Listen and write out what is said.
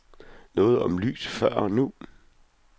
Noget om lys før og nu.